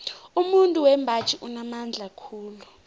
umuntu wembaji unamandla khulu